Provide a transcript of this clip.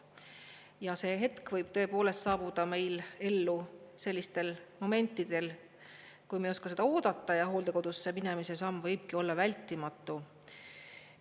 Ja see hetk võib saabuda meil ellu sellistel momentidel, kui me ei oska seda oodata, ja hooldekodusse minemise samm võibki olla vältimatu.